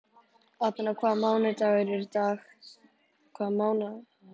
Atena, hvaða mánaðardagur er í dag?